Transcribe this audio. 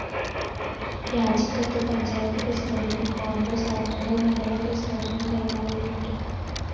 രാജികത്ത് പഞ്ചായത്ത് പ്രസിഡന്റിനും കോൺഗ്രസ്‌ അര്‍ത്തുങ്കല്‍ മണ്ഡലം പ്രസിഡന്റിനും കൈമാറിയിട്ടുണ്ട്